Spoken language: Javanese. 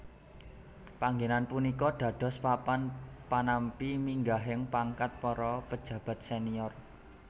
Panggenan punika dados papan panampi minggahing pangkat para pejabat senior